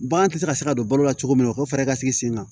Bagan tɛ se ka se ka don balo la cogo min na u ka fɛɛrɛ ka sigi sen kan